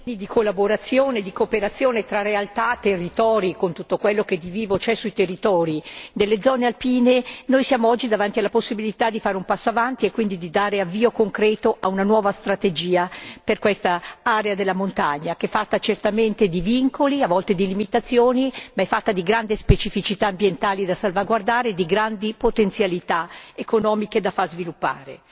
Signora Presidente, onorevoli colleghi, dopo anni, o meglio, decenni di collaborazione, di cooperazione fra realtà, territori, con tutto quello che di vivo c'è sui territori nelle zone alpine, noi siamo oggi davanti alla possibilità di fare un passo avanti e quindi di dare un avvio concreto ad una nuova strategia per quest'area della montagna, che è fatta certamente di vincoli, a volte di limitazioni, ma è fatta di grandi specificità ambientali da salvaguardare e di grandi potenzialità economiche da far sviluppare.